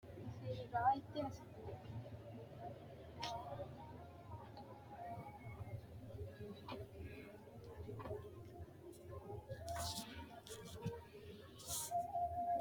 tini maa xawissanno misileeti ? mulese noori maati ? hiissinannite ise ? tini kultannori dana bicuri kuri maati mayi aana nooreeti